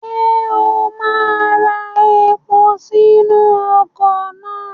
Ṣé o máa ra epo sínú ọkọ̀ náà?